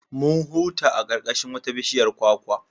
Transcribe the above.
Mun huta a ƙarƙashin wata bishiyar kwakwa.